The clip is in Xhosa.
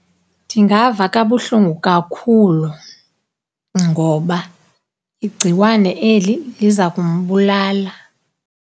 Ndingava kabuhlungu kakhulu ngoba igciwane eli liza kumbulala.